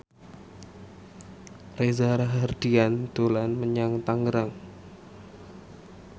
Reza Rahardian dolan menyang Tangerang